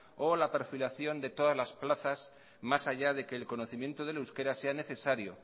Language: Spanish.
o la perfilación de todas las plazas más allá que el conocimiento del euskera sea necesario